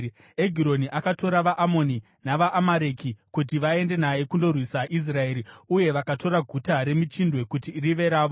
Egironi akatora vaAmoni navaAmareki kuti vaende naye kundorwisa Israeri, uye vakatora Guta reMichindwe kuti rive ravo.